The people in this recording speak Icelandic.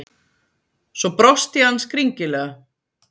Svo brosti hann skringilega.